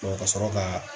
ka sɔrɔ ka